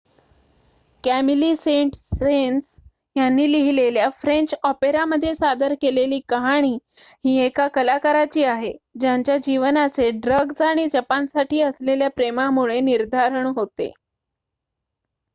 "Camille Saint-Saens यांनी लिहिलेल्या French ऑपेरामध्ये सादर केलेली कहाणी ही एका कलाकाराची आहे "ज्यांच्या जीवनाचे ड्रग्ज आणि जपानसाठी असलेल्या प्रेमामुळे निर्धारण होते.""